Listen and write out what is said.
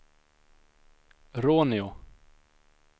Råneå